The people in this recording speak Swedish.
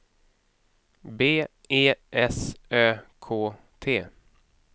B E S Ö K T